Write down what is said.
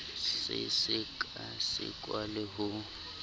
se seka sekwa le ho